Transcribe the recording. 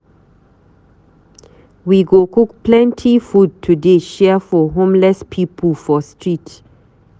We go cook plenty food today share for homeless pipu for street.